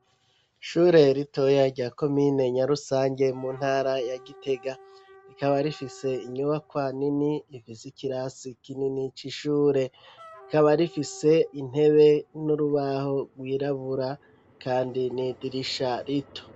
Ishure ritoya rya komine nya Rusange mu ntara ya Gitega rikaba rifise inyubakwa nini ifise ikirasi kinini c'ishure rikaba rifise intebe n'urubaho rwirabura kandi n'idirisha rito.